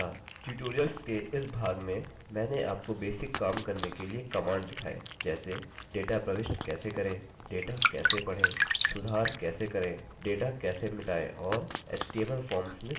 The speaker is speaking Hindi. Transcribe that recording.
अतः ट्यूटोरियल्स के इस भाग में मैंने आपको बेसिक काम करने के लिए कमांड दिखाए जैसे